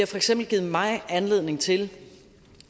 for eksempel givet mig anledning til